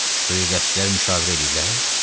Suyu qəçcilər müşavirə eləyirlər?